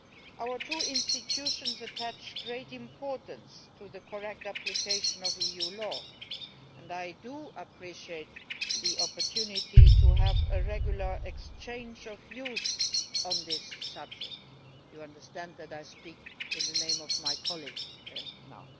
Our two institutions attach great importance to the correct application of EU law, and I appreciate the opportunity to have a regular exchange of views on this subject you understand that I am speaking in the name of my colleague now.